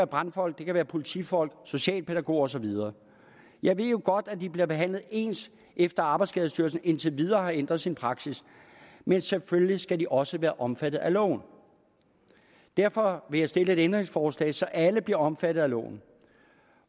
brandfolk det kan være politifolk socialpædagoger og så videre jeg ved jo godt at de bliver behandlet ens efter at arbejdsskadestyrelsen indtil videre har ændret sin praksis men selvfølgelig skal de også være omfattet af loven derfor vil jeg stille et ændringsforslag så alle bliver omfattet af loven